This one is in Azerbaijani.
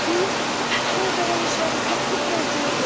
Ödənilmişləri qəpik borcumuz yoxdur.